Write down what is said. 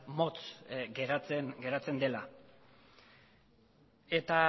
motz geratzen dela eta